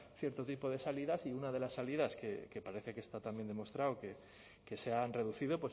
cierto tipo de salidas y una de las salidas que parece que está también demostrado que se han reducido